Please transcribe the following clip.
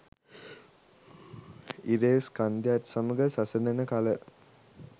ඉරේ ස්කන්ධයත් සමඟ සසදන කල